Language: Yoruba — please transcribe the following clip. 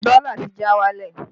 Dọ́là ti já wálẹ̀